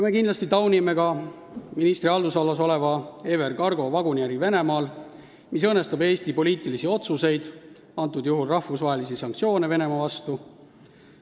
Me kindlasti taunime ministri haldusalas oleva EVR Cargo vaguniäri Venemaal, mis õõnestab Eesti poliitilisi otsuseid, antud juhul rahvusvahelisi sanktsioone Venemaa vastu.